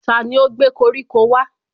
Tani ó gbé koríko wá?